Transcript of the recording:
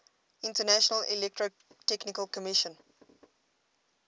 international electrotechnical commission